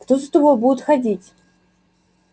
кто за тобою будет ходить